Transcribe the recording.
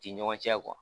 Ti ɲɔgɔn cɛ